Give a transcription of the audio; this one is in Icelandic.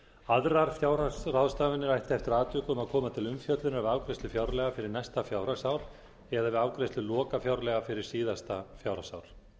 aðrar fjárhagsráðstafanir ættu eftir atvikum að koma til umfjöllunar við afgreiðslu fjárlaga fyrir næsta fjárhagsár eða við afgreiðslu lokafjárlaga fyrir síðasta fjárhagsár